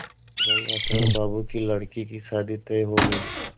गंगाशरण बाबू की लड़की की शादी तय हो गई